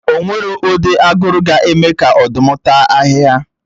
O nweghi ụdị aguru ga-eme ka Ọ̀dụ́m tàa ahị́hia